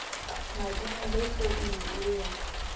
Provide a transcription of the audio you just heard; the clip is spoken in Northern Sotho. mading ge founu ye ella